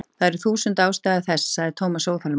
Það eru þúsund ástæður sagði Thomas óþolinmóður.